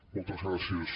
moltes gràcies